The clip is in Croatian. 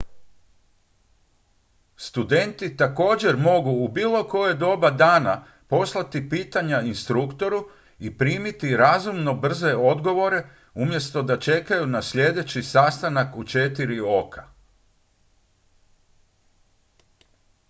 studenti također mogu u bilo koje doba dana poslati pitanja instruktoru i primiti razumno brze odgovore umjesto da čekaju na sljedeći sastanak u četiri oka